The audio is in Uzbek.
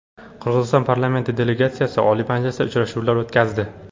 Qirg‘iziston parlament delegatsiyasi Oliy Majlisda uchrashuvlar o‘tkazdi.